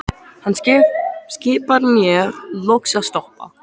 Hann skipar mér loks að stoppa.